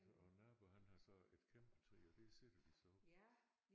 Og naboen han har så et kæmpe træ og der sidder de så oppe